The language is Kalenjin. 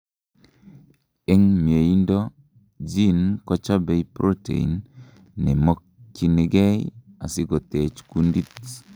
en mieindo, gene kochobei protein neimokyinigei asikotech kundit